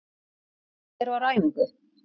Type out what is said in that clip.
Ég: Hvernig var á æfingu?